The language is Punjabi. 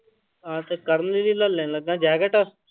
ਹਾਂ ਤੇ ਕਰਨ ਲਈ ਲੈ ਲੈਨਾ ਜੈਕਟ।